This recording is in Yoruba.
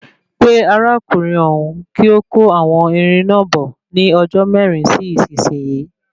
Pe arákùnrin òhún kí ó kó àwọn irin náà bọ̀ ní ọjọ́ mẹrin sí isisiyi